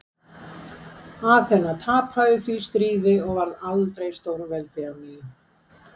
Aþena tapaði því stríði og varð aldrei stórveldi á ný.